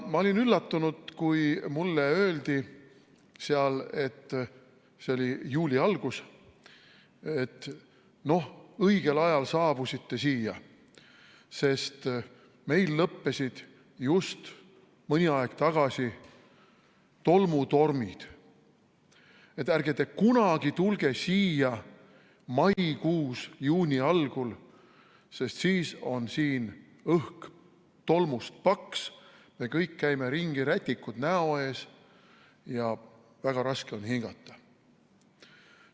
Ma olin üllatunud, kui mulle öeldi seal, see oli juuli alguses, et noh, õigel ajal saabusite siia, sest meil lõppesid just mõni aeg tagasi tolmutormid, et ärge kunagi tulge siia maikuus, juuni algul, sest siis on siin õhk tolmust paks, me kõik käime ringi, rätikud näo ees ja väga raske on hingata.